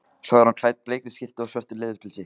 Svo er hún klædd bleikri skyrtu og svörtu leðurpilsi.